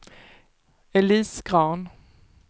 Elise Grahn